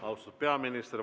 Austatud peaminister!